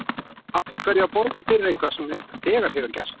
Af hverju að borga fyrir eitthvað sem þegar hefur gerst?